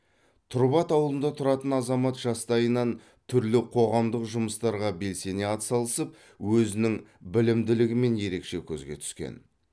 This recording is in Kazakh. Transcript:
тұрбат ауылында тұратын азамат жастайынан түрлі қоғамдық жүмыстарға белсене атсалысып өзінің білімділігімен ерекше көзге түскен